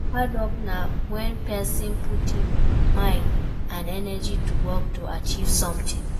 Hard work na when persin Put im mind and energy to work to achieve something